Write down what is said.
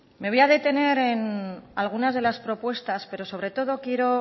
me voy a detener en algunas de las propuestas pero sobre todo quiero